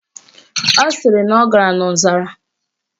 Ọ sịrị na ọ gara n' ọzara